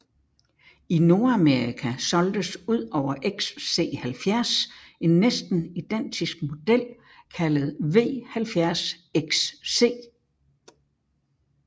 I Nordamerika solgtes udover XC70 en næsten identisk model kaldet V70 XC